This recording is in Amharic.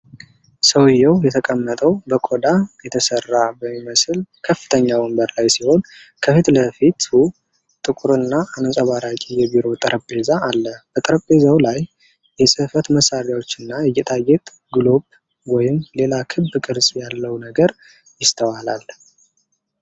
ሰውዬው የተቀመጠው በቆዳ የተሰራ በሚመስል ከፍተኛ ወንበር ላይ ሲሆን፣ ከፊት ለፊቱ ጥቁርና አንጸባራቂ የቢሮ ጠረጴዛ አለ። በጠረጴዛው ላይ የጽሕፈት መሣሪያዎች እና የጌጣጌጥ ግሎብ ወይም ሌላ ክብ ቅርጽ ያለው ነገር ይስተዋላል።